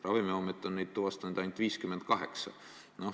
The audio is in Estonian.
Ravimiamet on neid tuvastanud ainult 58.